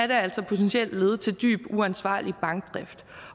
det altså potentielt lede til dyb uansvarlig bankdrift